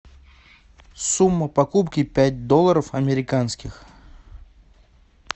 сумма покупки пять долларов американских